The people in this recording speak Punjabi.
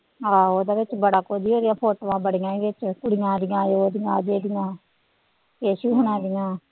ਆਹੋ ਉਹਦੇ ਵਿੱਚ ਬੜਾ ਕੁੱਝ ਸੀਗਾ ਫੋਟੋਆਂ ਬੜੀਆਂ ਸੀ ਉਹ ਚ ਕੁੜੀਆਂ ਦੀਆਂ, ਉਹਦੀਆਂ ਅਜੇ ਦੀਆਂ, ਕੇਸੂ ਹੋਣਾਂ ਦੀਆਂ।